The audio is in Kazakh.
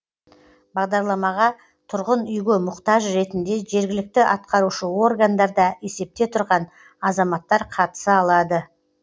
бағдарламаға тұрғын үйге мұқтаж ретінде жергілікті атқарушы органдарда есепте тұрған азаматтар қатыса алады